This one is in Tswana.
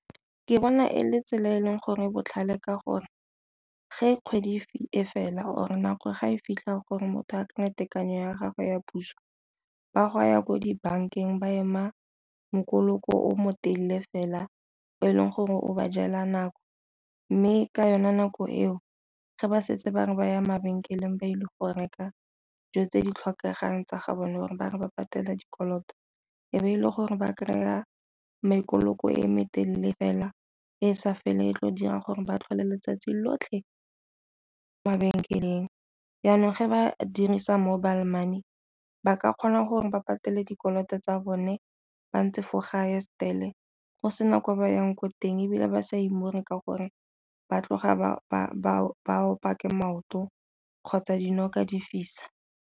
Ke bona e le tsela e e leng gore e botlhale ka gore, fa kgwedi e fela or nako ga e fitlha gore motho a ka tekanyo ya gago ya puso ba go ya ko dibankeng ba ema mokoloko o motelele fela o e leng gore o ba jela nako. Mme ke yone nako eo fa ba setse ba re ba ya mabenkeleng ba ile go reka dilo tse di tlhokegang tsa ga bone gore ba re ba patela dikoloto e be e le gore ba kry-a mekoloko e metelele fela e sa feleng e tlo dirang gore ba tlhole letsatsi lotlhe mabenkeleng. Jaanong fa ba dirisa mobile money ba ka kgona gore ba patele dikoloto tsa bone ba ntse fo ga ye still-e go sena kwa bayang ko teng ebile ba sa imore ka gore ba tloga ba op'wa ke maoto kgotsa dinoka di fisa.